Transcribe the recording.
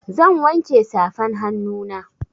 Zan wanke safan hannuna.